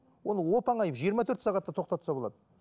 оны оп оңай жиырма төрт сағатта тоқтатса болады